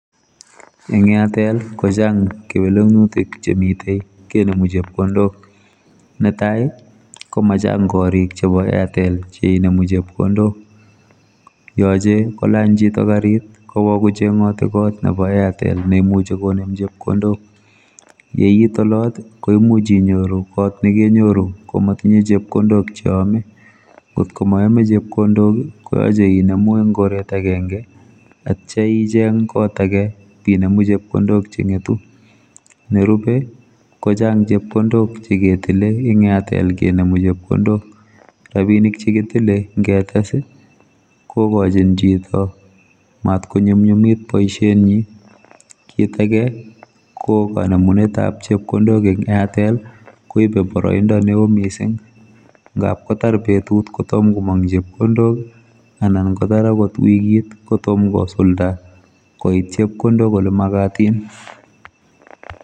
Eng airtel kochang kewelutik chemite kenemu chepkondok netai komachang korik chebo airtel cheinemu chepkondok yochei kolany chito karit kowo kochengoti kot nebo airtel neimuchi konem chepkondok yeiit olot koimuch inyoru kot nekenyoru komatinye chepkondok cheyome ngotko mayome chepkondok koyache inemu eng koret agenge atya icheng kot ake inemu chepkondok chengetu nerube kochang chepkondok cheketile ing airtel kenemu chepkondok rabinik chekitile ngetes kokochin chito matkonyumnyumit boisietnyi kit ake kokanemunetab chepkondok eng airtel koibe boroindo neo mising ngapkotar betut kotomo komong chepkondok anan kotar angot wikit kotom kosulda koit chepkondok ole magatin.